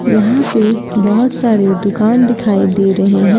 यहां से बहुत सारे दुकान दिखाई दे रहे हैं।